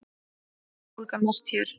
Verðbólgan mest hér